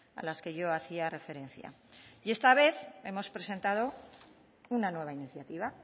a las que yo hacía referencia esta vez hemos presentado una nueva iniciativa